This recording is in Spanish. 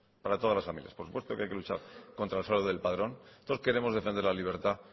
para todas las familias por supuesto que hay que luchar contra el fraude del padrón todos queremos defender la libertad